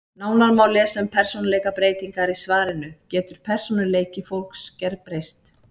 Nánar má lesa um persónuleikabreytingar í svarinu Getur persónuleiki fólks gerbreyst?